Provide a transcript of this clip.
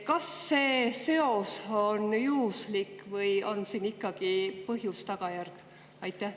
Kas see seos on juhuslik või on siin ikkagi põhjus-tagajärg seos?